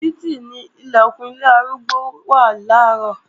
Títì ni Ilẹ̀kùn ilé arúgbó náà wà làárọ̀